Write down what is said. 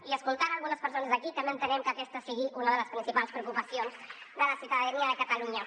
i escoltant algunes persones aquí també entenem que aquesta sigui una de les principals preocupacions de la ciutadania de catalunya